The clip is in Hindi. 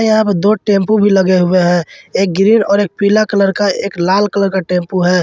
यहां पे दो टेंपो भी लगे हुए हैं एक ग्रीन और एक पीला कलर का एक लाल कलर का टेंपो है।